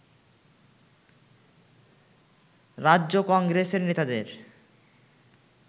রাজ্য কংগ্রেসের নেতাদের